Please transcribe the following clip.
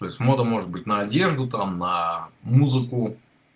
то есть мода может быть на одежду там на музыку